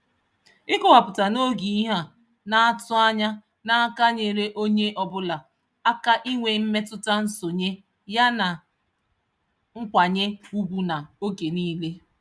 Ịkọwapụta n'oge ihe a na-atụ anya n'aka nyeere onye ọbụla aka inwe mmetụta nsonye ya na nkwanye ugwu n'oge niile.